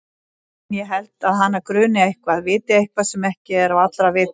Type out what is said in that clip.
En ég held að hana gruni eitthvað, viti eitthvað sem ekki er á allra vitorði.